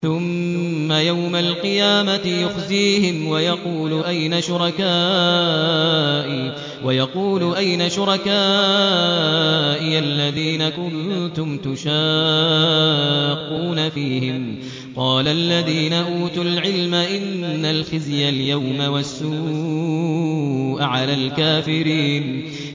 ثُمَّ يَوْمَ الْقِيَامَةِ يُخْزِيهِمْ وَيَقُولُ أَيْنَ شُرَكَائِيَ الَّذِينَ كُنتُمْ تُشَاقُّونَ فِيهِمْ ۚ قَالَ الَّذِينَ أُوتُوا الْعِلْمَ إِنَّ الْخِزْيَ الْيَوْمَ وَالسُّوءَ عَلَى الْكَافِرِينَ